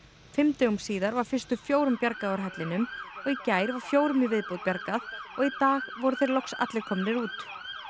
fimm dögum síðar var fyrstu fjórum bjargað úr hellinum í gær var fjórum í viðbót bjargað og í dag voru þeir loks allir komnir út